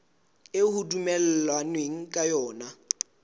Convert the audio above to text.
eo ho dumellanweng ka yona